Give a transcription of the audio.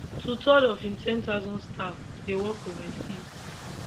twothirds of im 10000 staff dey work overseas